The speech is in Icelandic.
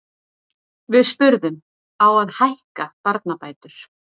Við spurðum, á að hækka barnabætur?